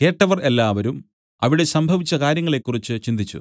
കേട്ടവർ എല്ലാവരും അവിടെ സംഭവിച്ച കാര്യങ്ങളെക്കുറിച്ച് ചിന്തിച്ചു